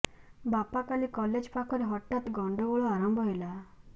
ବାପା କାଲି କଲେଜ ପାଖରେ ହଠାତ୍ ଗଣ୍ଡଗୋଳ ଆରମ୍ଭ ହେଲା